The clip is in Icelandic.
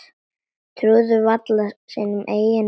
Trúðu varla sínum eigin eyrum.